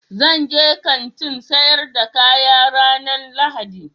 Zan je Kantin sayar da kaya ranan lahadi